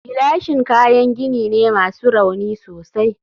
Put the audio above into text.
gilashin kayan gini ne masu rauni sosai